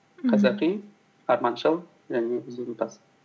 мхм қазақи арманшыл және ізденімпаз